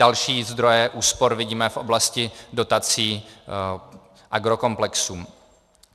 Další zdroje úspor vidíme v oblasti dotací agrokomplexům.